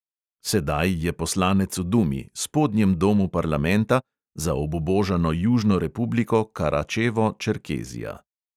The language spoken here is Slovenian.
Sedaj je poslanec v dumi, spodnjem domu parlamenta, za obubožano južno republiko karačevo-čerkezija.